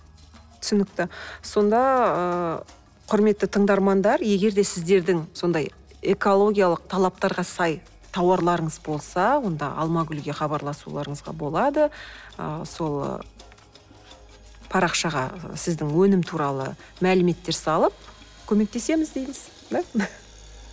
түсінікті сонда ыыы кұрметті тыңдармандар егер де сіздердің сондай экологиялық талаптарға сай тауарларыңыз болса онда алмагүлге хабарласуларыңызға болады ы сол парақшаға сіздің өнім туралы мәліметтер салып көмектесеміз дейміз да